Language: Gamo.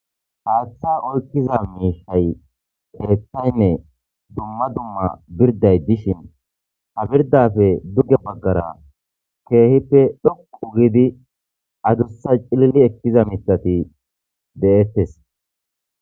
haaththa oykkiza miishay keththaynne duma duma birday dishin ha birdafe dugge baggara keehippe dhoqu gidi adussa cilili ekkiza mitati de7ettes